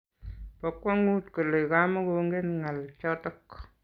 Po kwong'ut kole kamegongen ng'al chotok.